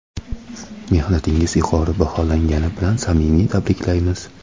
Mehnatingiz yuqori baholangani bilan samimiy tabriklaymiz!.